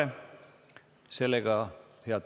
Head kolleegid, istung on lõppenud.